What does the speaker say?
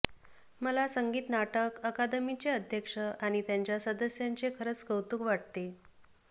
मला संगीत नाटक अकादमीचे अध्यक्ष आणि त्यांच्या सदस्यांचे खरंच कौतुक वाटते